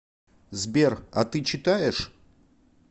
сбер а ты читаешь